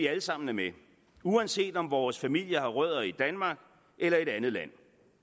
vi alle sammen er med uanset om vores familie har rødder i danmark eller i et andet land